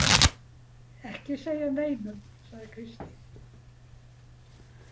Ekki segja neinum, sagði Kristín.